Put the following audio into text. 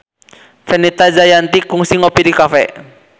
Fenita Jayanti kungsi ngopi di cafe